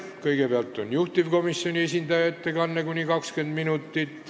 Kõigepealt on juhtivkomisjoni ettekanne kuni 20 minutit.